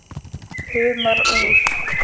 Humar úr